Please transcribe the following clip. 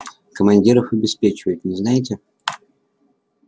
командиров обеспечивают не знаете